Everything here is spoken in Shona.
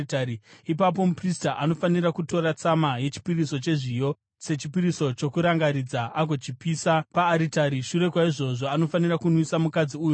Ipapo muprista anofanira kutora tsama yechipiriso chezviyo sechipiriso chokurangaridza agochipisa paaritari; shure kwaizvozvo, anofanira kunwisa mukadzi uyu mvura.